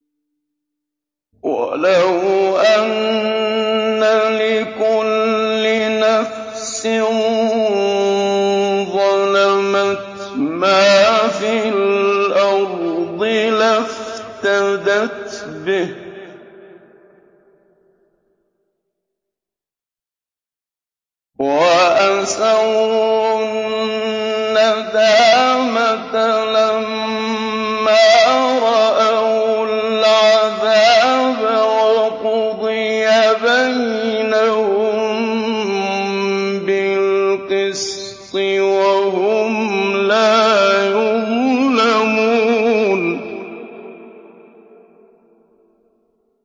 وَلَوْ أَنَّ لِكُلِّ نَفْسٍ ظَلَمَتْ مَا فِي الْأَرْضِ لَافْتَدَتْ بِهِ ۗ وَأَسَرُّوا النَّدَامَةَ لَمَّا رَأَوُا الْعَذَابَ ۖ وَقُضِيَ بَيْنَهُم بِالْقِسْطِ ۚ وَهُمْ لَا يُظْلَمُونَ